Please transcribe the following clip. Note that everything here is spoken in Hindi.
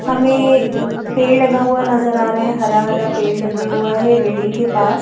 हमें पेड़ लगा हुआ नज़र आ रहा है हरा हरा पेड़ लगा हुआ है बिल्डिंग के पास --